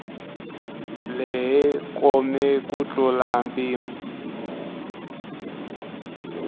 lehe kome ku tlula mpimo